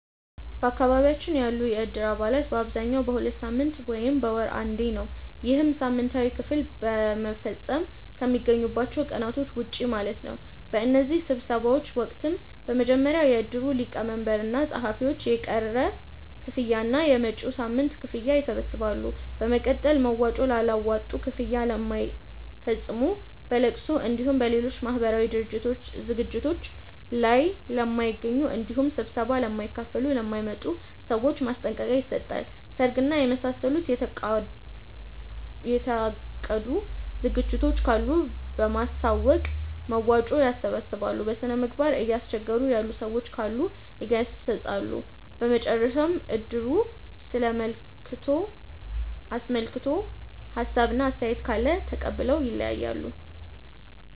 በአካባቢያችን ያሉ የእድር አባላት በአብዛኛው በሁለት ሳምንት ወይም በወር አንዴ ነው። ይህም ሳምንታዊ ክፍያ ለመፈፀም ከሚገናኙባቸው ቀናቶች ውጪ ማለት ነው። በእነዚህ ስብሰባዎች ወቅትም በመጀመሪያ የእድሩ ሊቀመንበር እና ፀሀፊዎች የቀረ ክፍያ እና የመጪዉን ሳምንት ክፍያ ይሰበስባሉ። በመቀጠል መዋጮ ላላዋጡ፣ ክፍያ ለማይፈፅሙ፣ በለቅሶ እንዲሁም በሌሎች ማህበራዊ ዝግጅቶት ላይ ለማይገኙ እንዲሁም ስብሰባ ለማይካፈሉ ( ለማይመጡ) ሰዎች ማስጠንቀቂያ ይሰጣል። ሰርግ እና የመሳሰሉ የታቀዱ ዝግጅቶች ካሉ በማሳወቅ መዋጮ ያሰባስባሉ። በስነምግባር እያስቸገሩ ያሉ ሰዎች ካሉ ይገሰፃሉ። በመጨረሻም እድሩን አስመልክቶ ሀሳብ እና አስተያየት ካለ ተቀብለው ይለያያሉ።